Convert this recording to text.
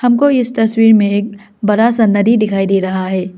हमको इस तस्वीर में एक बरा सा नदी डिखाई डे रहा है।